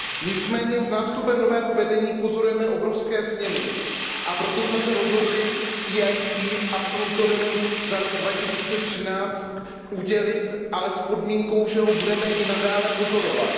Nicméně s nástupem nového vedení pozorujeme obrovské změny, a proto jsme se rozhodli EIT absolutorium za rok 2013 udělit, ale s podmínkou, že ho budeme i nadále pozorovat.